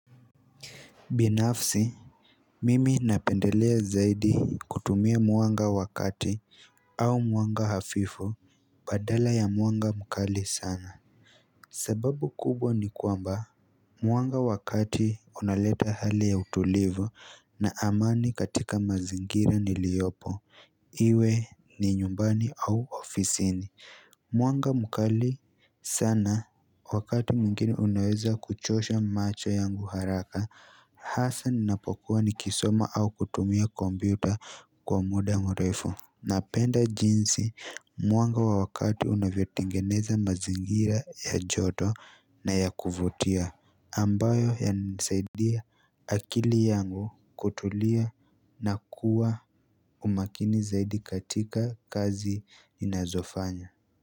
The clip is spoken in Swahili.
Binafsi, mimi napendelea zaidi kutumia mwanga wakati au mwanga hafifu badala ya mwanga mukali sana sababu kubwa ni kwamba mwanga wakati unaleta hali ya utulivu na amani katika mazingira niliopo Iwe ni nyumbani au ofisi ni Mwanga mukali sana wakati mwingini unaweza kuchosha macho yangu haraka Hasa ninapokuwa ni kisoma au kutumia kombiuta kwa muda mrefo Napenda jinsi mwanga wa wakati unavyo tengeneza mazingira ya joto na ya kuvotia ambayo ya nisaidia akili yangu kutulia na kuwa umakini zaidi katika kazi inazofanya.